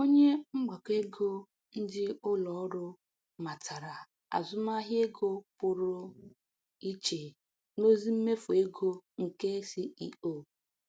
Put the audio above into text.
Onye mgbakọ ego ndị ụlọ ọrụ matara azụmahịa ego pụrụ iche n'ozi mmefụ ego nke CEO.